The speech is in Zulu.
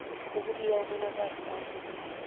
ukubika umonakalo abawubonayo